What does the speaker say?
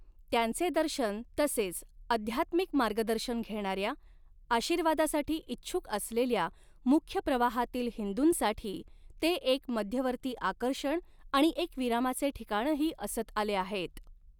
त्यांचे दर्शन तसेच आध्यात्मिक मार्गदर्शन घेणाऱ्या, आशीर्वादासाठी इच्छुक असलेल्या मुख्य प्रवाहातील हिंदूंसाठी, ते एक मध्यवर्ती आकर्षण आणि एक विरामाचे ठिकाणही असत आले आहेत.